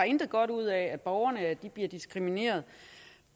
intet godt ud af at borgerne bliver diskrimineret